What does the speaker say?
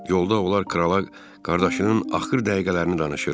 Yolda onlar krala qardaşının axır dəqiqələrini danışır.